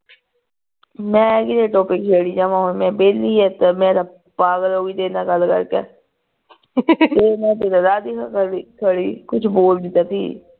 ਮੈਂ ਕਿਦੇ topic ਛੇੜੀ ਜਾਵਾ ਹੁਣ ਮੈਂ ਵੇਹਲੀ ਆ ਤੇ ਮੈਂ ਤਾ ਪਾਗਲ ਹੋ ਗਈ ਤੇਰੇ ਨਾਲ ਗੱਲ ਕਰ ਕੇ ਕੁਛ ਬੋਲ ਦਿੱਤਾ ਸੀ